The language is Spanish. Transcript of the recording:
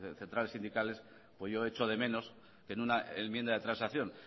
centrales sindicales pues yo echo de menos que en una enmienda de transacción